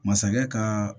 Masakɛ ka